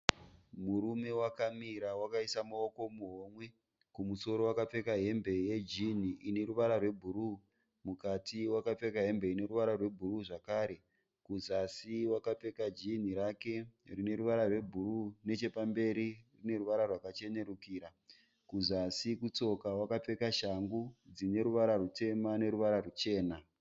Murume wakamira wakaisa muoko muhomwe. Kumusoro wakapfeka hembe yejini ine ruvara rwebhuruu. Mukati wakapfeka hembe ine ruvara rwebhuruu zvakare. Kuzasi wakapfeka jini rake rine ruvara rwebhuruu nechepamberi rine ruvara rwakachenerukira. Kuzasi kutsoka wakapfeka shangu dzine ruvara rutema neruvara ruchena.